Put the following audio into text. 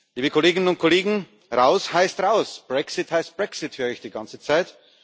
Liebe Kolleginnen und Kollegen, Raus heißt raus, Brexit heißt Brexit, höre ich die ganze Zeit.